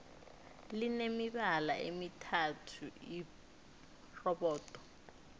line mibala emithathu irobodo